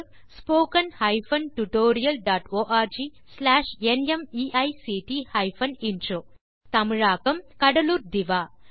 spoken hyphen tutorial dot org slash NMEICT hyphen intro தமிழாக்கம் கடலூர் திவா